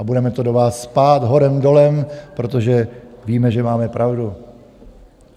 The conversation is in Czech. A budeme to do vás cpát horem dolem, protože víme, že máme pravdu.